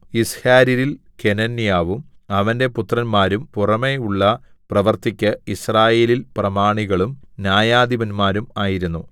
യിസ്ഹാര്യരിൽ കെനന്യാവും അവന്റെ പുത്രന്മാരും പുറമെയുള്ള പ്രവൃത്തിക്ക് യിസ്രായേലിൽ പ്രമാണികളും ന്യായാധിപന്മാരും ആയിരുന്നു